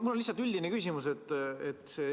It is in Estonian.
Mul on üldine küsimus.